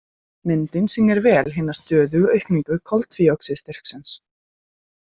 Myndin sýnir vel hina stöðugu aukningu koltvíoxíðsstyrksins.